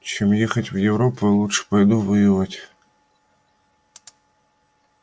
чем ехать в европу я лучше пойду воевать